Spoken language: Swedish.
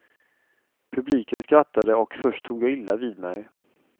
Publiken skrattade och först tog jag illa vid mig.